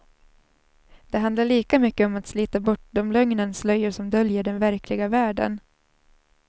Det handlar lika mycket om att slita bort de lögnens slöjor som döljer den verkliga världen.